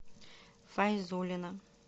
файзуллина